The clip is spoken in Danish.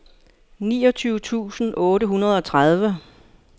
niogtyve tusind otte hundrede og tredive